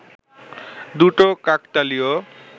দুটো কাকতালীয়